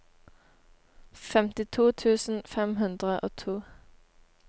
femtito tusen fem hundre og to